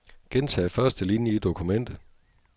Gentag første linie i dokumentet.